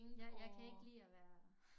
Ja jeg kan ikke lide at være